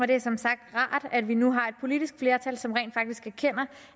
det er som sagt rart at vi nu har et politisk flertal som rent faktisk erkender